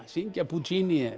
syngja